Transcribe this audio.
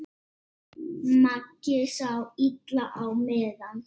Maggi sá illa á miðann.